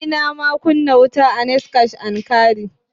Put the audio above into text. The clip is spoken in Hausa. Ni nama kunna wuta a "next Cash n carry".